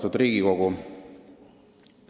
Austatud Riigikogu!